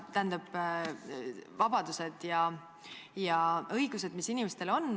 Tähendab, inimestel on vabadused ja õigused.